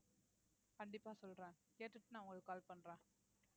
கண்டிப்பா சொல்றேன் கேட்டுட்டு நான் உங்களுக்கு call பண்றேன்